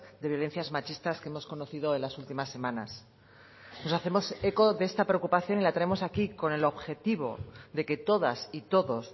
de violencias machistas que hemos conocido en las últimas semanas nos hacemos eco de esta preocupación y la traemos aquí con el objetivo de que todas y todos